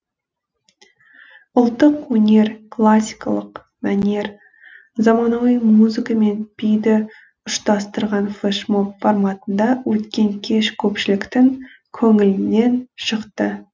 ұлттық өнер классикалық мәнер заманауи музыка мен биді ұштастырған флешмоб форматында өткен кеш көпшіліктің көңілінен шықты